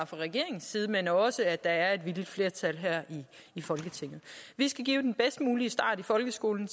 fra regeringens side men også at der er et villigt flertal her i folketinget vi skal give den bedst mulige start i folkeskolen